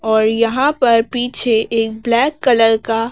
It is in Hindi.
और यहां पर पीछे एक ब्लैक कलर का--